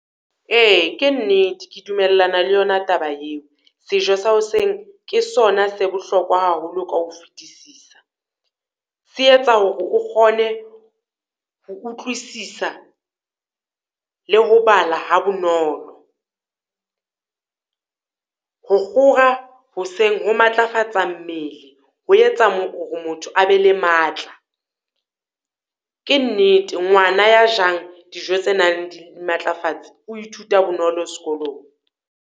Eya, ke nnete ke dumellana le yona taba eo. Sejo se hoseng ke sona se bohlokwa haholo ka ho fetisisa. Se etsa hore o kgone ho utlwisisa, le ho bala ha bonolo. Ho kgora hoseng ho matlafatsa mmele, ho etsa horr motho a be le matla. Ke nnete, ngwana ya jang dijo tse nang dimatlafatsi, o ithuta bonolo sekolong.